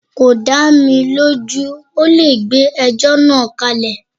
Kò dá mi lójú, ọ́ le gbé ẹjọ́ náà kálẹ̀.